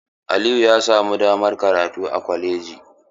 Aliyu ya samu damar karatu a kwalaji.